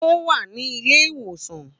Ó wà ní ilé ìwòsàn